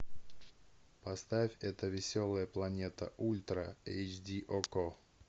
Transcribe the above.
поставь эта веселая планета ультра эйч ди окко